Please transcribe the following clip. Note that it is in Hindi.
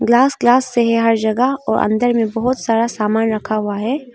ग्लास ग्लास से हर जगह और अंदर में बहोत सारा सामान रखा हुआ है।